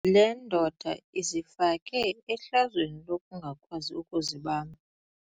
Le ndoda izifake ehlazweni lokungakwazi ukuzibamba.